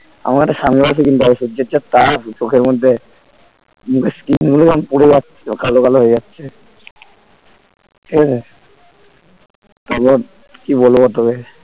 আমার একটা sunglass ও কিনতে হবে সূর্যের যে তাপ চোখের মধ্যে মুখের skin গুলো পুড়ে যাচ্ছিলো কালো কালো হয়ে যাচ্ছে ঠিক আছে তারপর কি বলবো তোকে